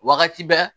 Wagati bɛɛ